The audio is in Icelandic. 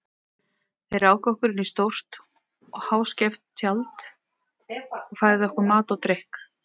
Þeir ráku okkur inn í stórt og háskeft tjald og færðu okkur mat og drykk.